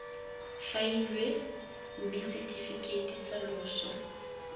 faeliwa mme setefikeiti sa loso